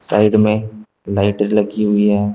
Side में light लगी हुई है।